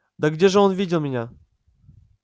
да где же он видел меня